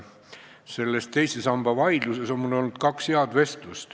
Selles teise samba vaidluses on mul olnud kaks head vestlust.